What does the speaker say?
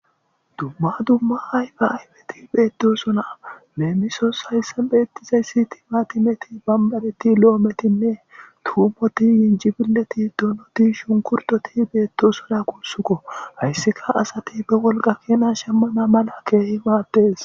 Dumma dumma ayba aybeti beettosona leemisos hayssan beettizayssiti maatimeti bammaleti lo7o metime tuumoti yinjibileti donoti shunkurtoti beetto sona kulsukko hayssika asati be wolqa keena shemmana mala keehi maattes